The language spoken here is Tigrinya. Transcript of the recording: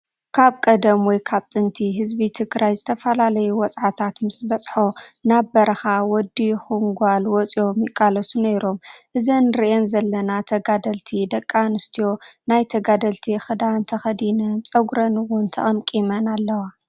ካብ ቀደም ወይ ካብ ጥንቲ ህዝቢ ትግራይ ዝተፈላለዩ ወፃዓታት ምስ በፅሖ ናብ በረካ ወደዲ ይኩን ጓል ወፂኦ ይቃለሱ ነይሮም እዘን እንሪኣን ዘለና ተጋደልቲ ደቂ ኣንትዮ ናይ ተጋደልቲ ክዳን ተከዲነን ፀጉረን እውን ተከምቂመን ኣለዋ።